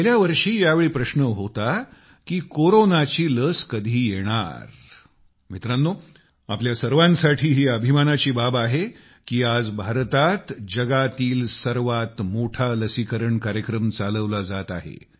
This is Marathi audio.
गेल्या वर्षी यावेळी प्रश्न होता की कोरोनाची लस कधी येणार मित्रांनो आपल्या सर्वांसाठी ही अभिमानाची बाब आहे की आज भारतात जगातील सर्वात मोठा लसीकरण कार्यक्रम चालविला जात आहे